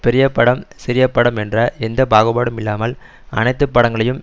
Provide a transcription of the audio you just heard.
பெரிய படம் சிறிய படம் என்ற எந்த பாகுபாடும் இல்லாமல் அனைத்து படங்களையும்